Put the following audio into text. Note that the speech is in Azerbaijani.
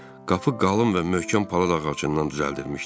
Qapı qalın və möhkəm palıd ağacından düzəldilmişdi.